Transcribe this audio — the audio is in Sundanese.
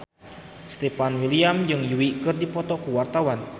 Stefan William jeung Yui keur dipoto ku wartawan